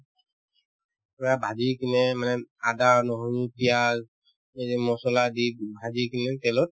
পূৰা ভাজি কিনে মানে আদা, নহৰু, পিয়াঁজ এই যে মছলা দি ভাজিকিনে তেলত